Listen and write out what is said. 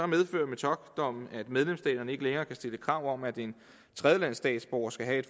medfører metockdommen at medlemsstaterne ikke længere kan stille krav om at en tredjelandsstatsborger skal have